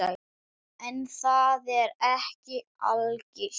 En það er ekki algilt.